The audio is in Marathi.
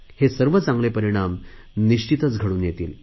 हे चांगले परिणाम निश्चितच घडून येतील